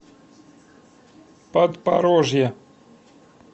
подпорожье